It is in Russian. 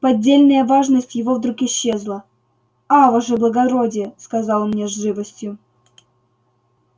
поддельная важность его вдруг исчезла а ваше благородие сказал он мне с живостью